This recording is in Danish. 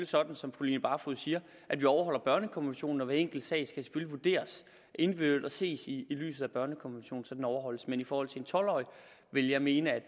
sådan som fru line barfod siger at vi overholder børnekonventionen hver enkelt sag skal selvfølgelig vurderes individuelt og ses i lyset af børnekonventionen så den overholdes men i forhold til en tolv årig vil jeg mene at